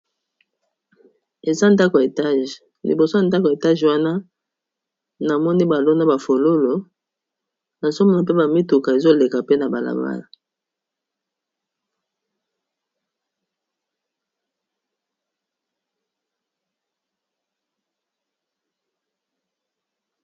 Awa namoni balakisi biso eza ndako ya etage wana na moni baloni bafololo na nazomona mpe bamituka ezoleka pe na balabala